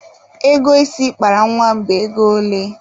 Ego isi ị kpara nwa m bụ ego ole?